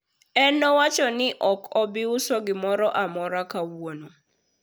en nowacho ni ok obiuso gimoro amora kawuono